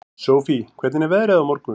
Sofie, hvernig er veðrið á morgun?